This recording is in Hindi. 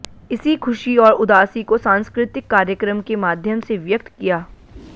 इसी ख़ुशी और उदासी को सांस्कृतिक कार्यक्रम के माध्यम से व्यक्त किया